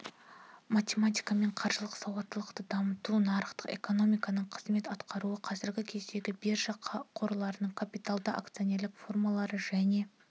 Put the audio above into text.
математикамен қаржылық сауаттылықты дамыту нарықтық экономиканың қызмет атқаруы қазіргі кездің биржа қорлары капиталдың акционерлік формалары және